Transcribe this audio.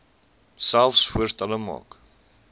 selfs voorstelle maak